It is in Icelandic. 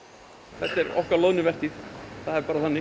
þetta er okkar loðnuvertíð það er bara þannig